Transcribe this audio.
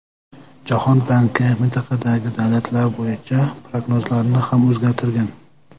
Jahon banki mintaqadagi davlatlar bo‘yicha prognozlarini ham o‘zgartirgan.